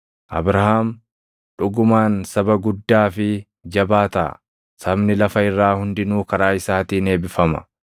Abrahaam dhugumaan saba guddaa fi jabaa taʼa; sabni lafa irraa hundinuu karaa isaatiin eebbifama.